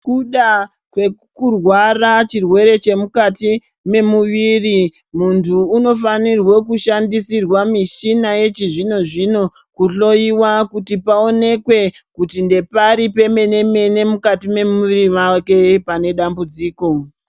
Ngekuda kwekurwara chirwere chemukati mwemuviri muntu unofanire kushandisirwa mishina yechizvinozvino kuhloyiwa kuti paonenkwe kuti ndepari pemenemene mukati mwemuviri mwake pane dambudziko.